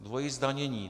Dvojí zdanění.